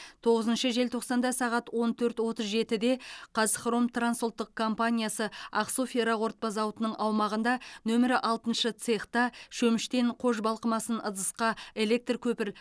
тоғызыншы желтоқсанда сағат он төрт отыз жетіде қазхром транс ұлттық компаниясы ақсу ферроқорытпа зауытының аумағында нөмері алтыншы цехта шөміштен қож балқымасын ыдысқа электр көпір